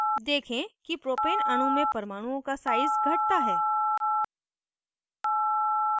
देखें कि propane अणु में परमाणुओं का size घटता है